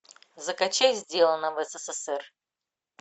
закачай сделано в ссср